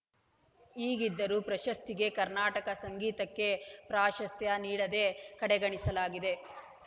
ಹೀಗಿದ್ದರೂ ಪ್ರಶಸ್ತಿಗೆ ಕರ್ನಾಟಕ ಸಂಗೀತಕ್ಕೆ ಪ್ರಾಶಸ್ತ್ಯ ನೀಡದೆ ಕಡೆಗಣಿಸಲಾಗಿದೆ